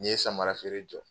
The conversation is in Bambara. N ye samarafeere jɔ